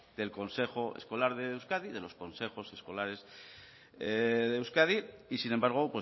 del consejo escolar de euskadi de los consejos escolares de euskadi y sin embargo